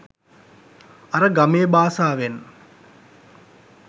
අර ගමේ බාසාවෙන්